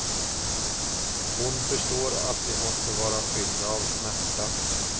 Hon förstår att de måste vara fyllda av smärta.